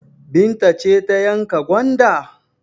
Binta ce ta yanka gwanda?